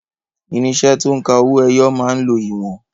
Irinṣẹ́ to ń ka owó ẹyọ máa ń lo ìwọ̀n.